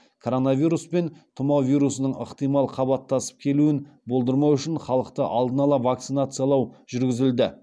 коронавирус пен тұмау вирусының ықтимал қабаттасып келуін болдырмау үшін халықты алдын ала вакцинациялау жүргізілді